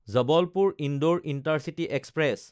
Jabalpur-Indore intercity express